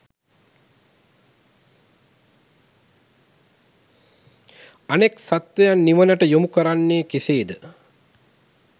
අනෙක් සත්වයන් නිවනට යොමු කරන්නේ කෙසේද?